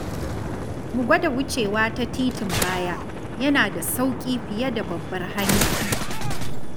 Mu gwada wucewa ta titin baya, yana da sauƙi fiye da babbar hanya.